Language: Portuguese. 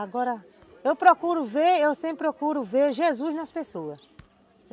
Agora, eu procuro vê, eu sempre procuro vê, Jesus nas pessoas.